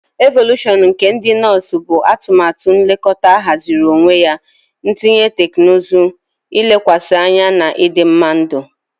Evolushọn nke ụlọ ndị nọọsụ bụ atụmatụ nlekọta ahaziri onwe ya, ntinye teknụzụ, ilekwasị anya na ịdịmma ndụ.